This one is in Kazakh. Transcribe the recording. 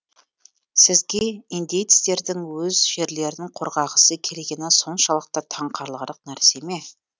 сізге индеецтердің өз жерлерін қорғағысы келгені соншалықты таңқаларлық нәрсе ме